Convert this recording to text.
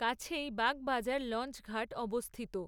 কাছেই বাগবাজার লঞ্চঘাট অবস্থিত।